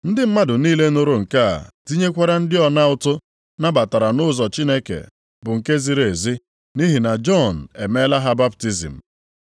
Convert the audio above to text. (Ndị mmadụ niile nụrụ nke a, tinyekwara ndị ọna ụtụ, nabatara nʼụzọ Chineke bụ nke ziri ezi, nʼihi na Jọn emela ha baptizim.